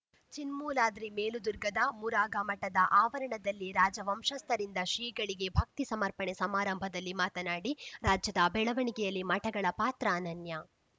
ಚಿನ್ಮೂಲಾದ್ರಿ ಮೇಲುದುರ್ಗದ ಮುರುಘಾಮಠದ ಆವರಣದಲ್ಲಿ ರಾಜವಂಶಸ್ಥರಿಂದ ಶ್ರೀಗಳಿಗೆ ಭಕ್ತಿ ಸಮರ್ಪಣೆ ಸಮಾರಂಭದಲ್ಲಿ ಮಾತನಾಡಿ ರಾಜ್ಯದ ಬೆಳವಣಿಗೆಯಲ್ಲಿ ಮಠಗಳ ಪಾತ್ರ ಅನನ್ಯ